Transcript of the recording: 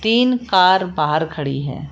तीन कार बाहर खड़ी है।